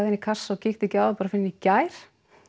í kassa og kíkti ekki á það fyrr en í gær